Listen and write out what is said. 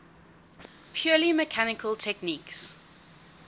purely mechanical techniques